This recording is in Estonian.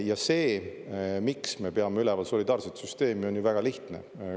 Ja see, miks me peame üleval solidaarset süsteemi, on ju väga lihtne.